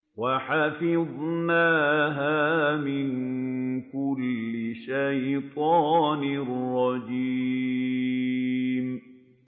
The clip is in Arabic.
وَحَفِظْنَاهَا مِن كُلِّ شَيْطَانٍ رَّجِيمٍ